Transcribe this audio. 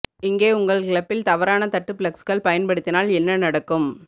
இங்கே உங்கள் கிளப்பில் தவறான தட்டு ஃப்ளெக்ஸ் பயன்படுத்தினால் என்ன நடக்கும்